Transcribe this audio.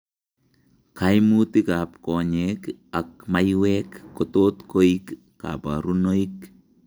Kaimutik ab konyeek ak maiwek kotot koik kabarunoik